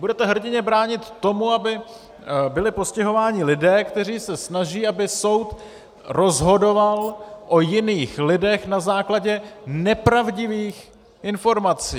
Budete hrdinně bránit tomu, aby byli postihováni lidé, kteří se snaží, aby soud rozhodoval o jiných lidech na základě nepravdivých informací.